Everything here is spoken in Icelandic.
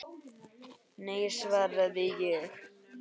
Nei, svaraði ég.